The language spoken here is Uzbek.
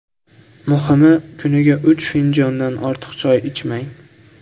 Muhimi, kuniga uch finjondan ortiq choy ichmang.